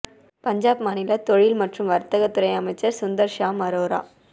பஞ்சாப் மாநில தொழில் மற்றும் வர்த்தகத்துறை அமைச்சர் சுந்தர் ஷாம் அரோரா